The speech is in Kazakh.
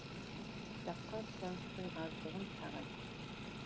кітапқа сұраныстың аздығын тағы айтты